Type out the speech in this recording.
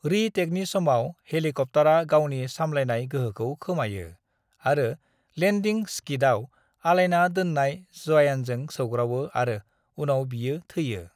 "री-टेकनि समाव, हेलिकप्तारा गावनि सामलायनाय गोहोखौ खोमायो आरो लेन्दिं स्किदआव आलायना दोन्नाय जयानजों सौग्रावो आरो उनाव बियो थैयो।"